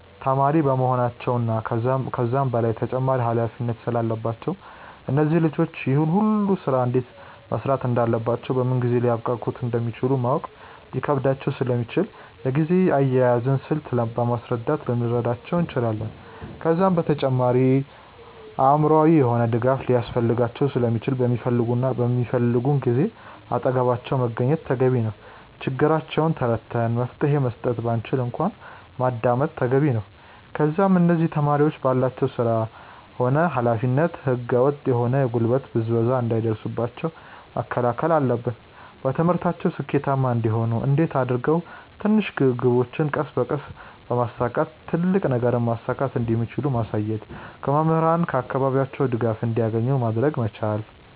ተማሪ በመሆናቸው እና ከዛም በላይ ተጨማሪ ኃላፊነት ስላለባቸው እነዚህ ልጆች ይህን ሁሉ ስራ እንዴት መስራት እንዳለባቸውና በምን ጊዜ ሊያብቃቁት እንደሚችሉ ማወቅ ሊከብዳቸው ስለሚችል የጊዜ አያያዝን ስልት በማስረዳት ልንረዳቸው እንችላለን። ከዛም በተጨማሪ አእምሮአዊ የሆነ ድጋፍ ሊያስፈልጋቸው ስለሚችል በሚፈልጉን ጊዜ አጠገባቸው መገኘት ተገቢ ነው። ችግራቸውን ተረድተን መፍትሄ መስጠት ባንችል እንኳን ማዳመጥ ተገቢ ነው። ከዛም እነዚህ ተማሪዎች ባላቸው ስራ ሆነ ኃላፊነት ህገ ወጥ የሆነ የጉልበት ብዝበዛ እንዳይደርስባቸው መከላከል አለብን። በትምህርታቸው ስኬታማ እንዲሆኑ እንዴት አድርገው ትንሽ ግቦችን ቀስ በቀስ በማሳካት ትልቅ ነገርን ማሳካት እንደሚችሉ ማሳየት። ከመምህራን እና ከአካባቢያቸው ድጋፍ እንዲያገኙ ማድረግ መቻል።